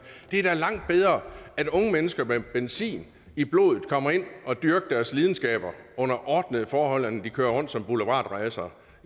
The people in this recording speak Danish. det er da langt bedre at unge mennesker med benzin i blodet kommer ind og dyrker deres lidenskab under ordnede forhold end at de kører rundt som boulevardræsere